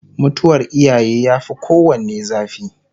mutuwar iyaye ya Fi kowanne zafi